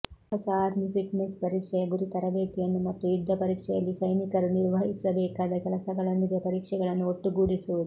ಹೊಸ army fitness ಪರೀಕ್ಷೆಯ ಗುರಿ ತರಬೇತಿಯನ್ನು ಮತ್ತು ಯುದ್ಧ ಪರೀಕ್ಷೆಯಲ್ಲಿ ಸೈನಿಕರು ನಿರ್ವಹಿಸಬೇಕಾದ ಕೆಲಸಗಳೊಂದಿಗೆ ಪರೀಕ್ಷೆಗಳನ್ನು ಒಟ್ಟುಗೂಡಿಸುವುದು